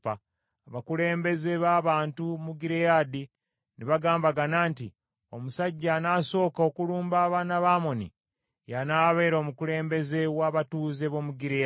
Abakulembeze b’abantu mu Gireyaadi ne bagambagana nti, “Omusajja anaasooka okulumba abaana ba Amoni, ye anaabeera omukulembeze w’abatuuze b’omu Gireyaadi.”